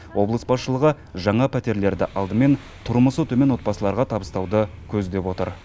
облыс басшылығы жаңа пәтерлерді алдымен тұрмысы төмен отбасыларға табыстауды көздеп отыр